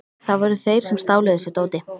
Það voru þeir sem stálu þessu dóti.